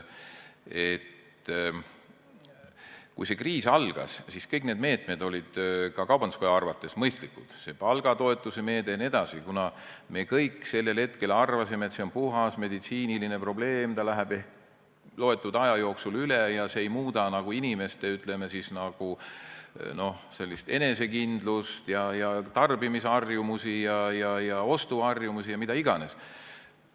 Kui kriis algas, siis kõik meetmed olid ka kaubanduskoja arvates mõistlikud – see palgatoetuse meede jne –, kuna me kõik sellel hetkel arvasime, et see on puhas meditsiiniline probleem, see läheb ehk mõne aja jooksul üle ja see ei muuda inimeste enesekindlust, tarbimisharjumusi, ostuharjumusi ja mida iganes.